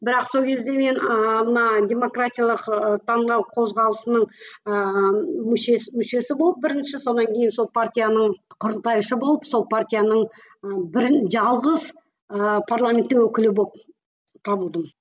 бірақ сол кезде мен ыыы мына демократиялық ы таңдау қозғалысының ыыы мүшесі болып бірінші сонан кейін сол партияның құрылтайшы болып сол партияның ы бірін жалғыз ыыы парламенттің өкілі болып табылдым